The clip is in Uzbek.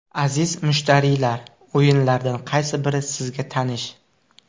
Aziz mushtariylar, o‘yinlardan qaysi biri sizga tanish.